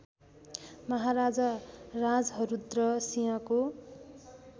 महाराजा राजहरूद्र सिंहको